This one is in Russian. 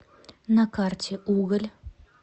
на карте уголь